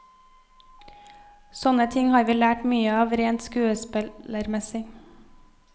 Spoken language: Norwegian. Sånne ting har vi lært mye av, rent skuespillermessig.